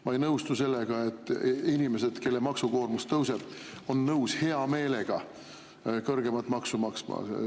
Ma ei nõustu sellega, et inimesed, kelle maksukoormus tõuseb, on nõus hea meelega kõrgemat maksu maksma.